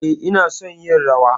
E, ina son yin rawa.